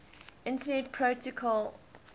internet protocol voip